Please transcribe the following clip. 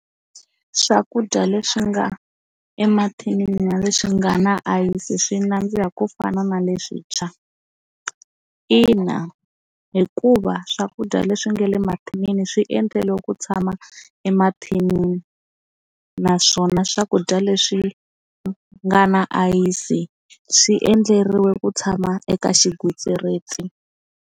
Swakudya leswi nga emathinini na leswi nga na ayisi swi nandziha ku fana na leswintshwa ina hikuva swakudya leswi nga le mathinini swi endleriwe ku tshama emathinini naswona swakudya leswi nga na ayisi swi endleriwe ku tshama eka xigwitsirisi.